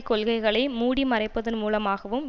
கொள்கைகளை மூடிமறைப்பதன் மூலமாகவும்